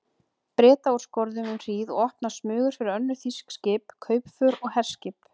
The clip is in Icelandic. Breta úr skorðum um hríð og opnað smugur fyrir önnur þýsk skip, kaupför og herskip.